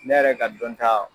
Ne yɛrɛ ka dɔn ta